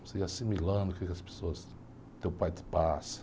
Você ir assimilando o que as pessoas... O teu pai te passa.